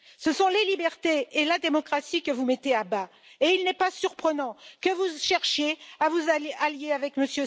Ce sont les libertés et la démocratie que vous mettez à bas, et il n'est pas surprenant que vous cherchiez à vous allier avec M.